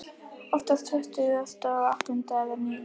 Oftast tuttugasta og áttunda eða níunda.